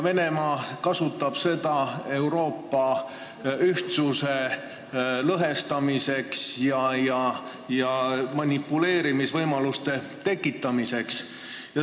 Venemaa kasutab seda Euroopa ühtsuse lõhestamiseks ja manipuleerimisvõimaluste tekitamiseks.